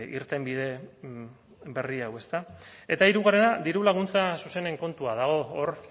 irtenbide berri hau ezta eta hirugarrena diru laguntza zuzenen kontua dago hor